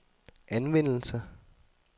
anvendelse